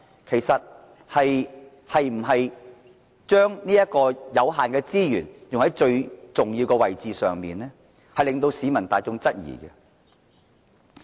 其實，政府有否把有限資源用在最重要的位置上呢？這是市民大眾質疑的。